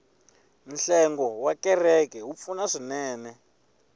nhlengo wa kereke wa pfuna swinene